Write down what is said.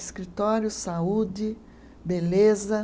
Escritório, saúde, beleza.